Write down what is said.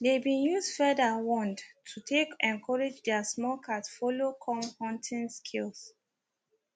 they been use feather wand to take encourage their small cat follow come hunting skills